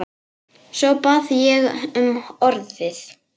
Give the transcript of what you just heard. Svo bað ég um orðið.